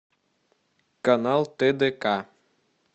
канал тдк